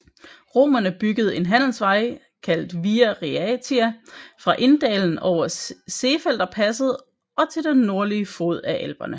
Romerne byggede en handelsvej kaldt Via Raetia fra Inndalen over Seefelderpasset og til den nordlige fod af Alperne